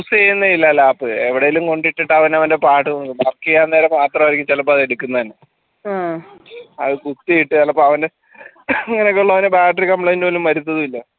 use ചെയ്യുന്നേ ഇല്ല lap എവിടേലും കൊണ്ടിട്ടിട്ട് അവന് അവൻറെ പാട് ബാക്കിയാവുന്നേരം മാത്രരിക്കും ചിലപ്പോ അത് എടുക്കുന്നത് തന്നെ അത് കുത്തിയിട്ട് ചിലപ്പോ അവൻറെ അങ്ങനെയൊക്കെ ഉള്ളവൻ battery complaint പോലും വരത്തതുമില്ല